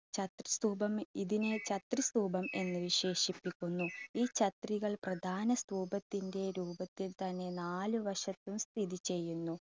ചത്ര് സ്തൂപം ഇതിനെ ചത്ര് സ്തൂപം എന്ന് വിശേഷിപ്പിക്കുന്നു. ഈ ചത്രികൾ പ്രധാന സ്തൂപത്തിൻറെ രൂപത്തിൽ തന്നെ നാല് വശത്തും സ്ഥിതി ചെയ്യുന്നു.